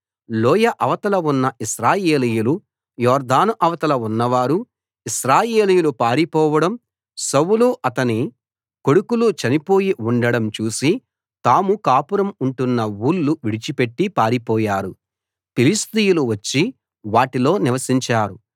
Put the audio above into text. లోయ అవతల ఉన్న ఇశ్రాయేలీయులు యొర్దాను అవతల ఉన్నవారు ఇశ్రాయేలీయులు పారిపోవడం సౌలు అతని కొడుకులు చనిపోయి ఉండడం చూసి తాము కాపురం ఉంటున్న ఊళ్ళు విడిచిపెట్టి పారిపోయారు ఫిలిష్తీయులు వచ్చి వాటిలో నివసించారు